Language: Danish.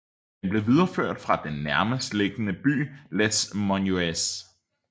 Den blev videreført fra den nærmest liggende by Les Menuires